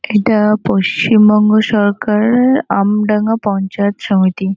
এটা পশ্চিমবঙ্গ সরকার আমডাঙ্গা পঞ্চায়েত সমিতি।